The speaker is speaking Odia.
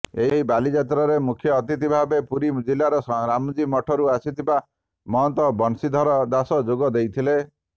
ଏହି ବାଲିଯାତ୍ରାରେ ମୁଖ୍ୟ ଅତିଥି ଭାବରେ ପୁରୀ ଜିଲ୍ଲାର ରାମଜୀ ମଠରୁ ଆସିଥିବା ମହନ୍ତ ବନ୍ସିଧର ଦାସ ଯୋଗ ଦେଇଥିଲେ